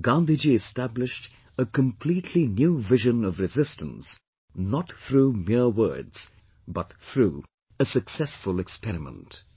Gandhi Ji established a completely new vision of resistance, not through mere words, but through a successful experiment